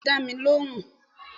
beeni o ti da mi lohùn